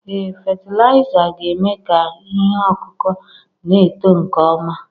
Ee fatịlaịza ga-eme ka ihe ọkụkụ na-eto nke ọma